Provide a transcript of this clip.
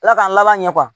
Ala k'an laban ɲɛ